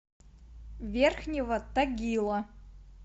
верхнего тагила